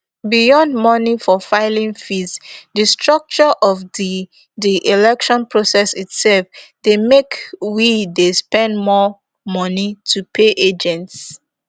beyond moni for filing fees di structure of di di election process itserf dey make we dey spend more moni to pay agents